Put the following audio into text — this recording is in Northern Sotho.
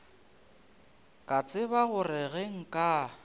ka tseba gore ge nka